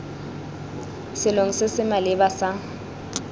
selong se se maleba sa